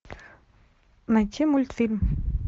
найти мультфильм